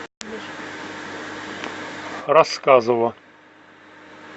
рассказово